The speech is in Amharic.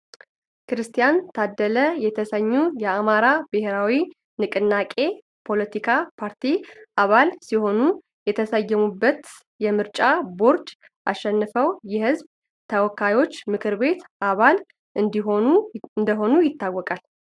ክርስቲያን ታደለ የተሰኜ የአማራ ብሔራዊ ንቅናቄ ፓለቲካ ፓርቲ አባል ሲሆኑ የተሰየሙበትን የምርጫ ቦርድ አሸንፈው የህዝብ ተወካዮች ምክር ቤት አባል እንደሆኑ ይታወቃል ።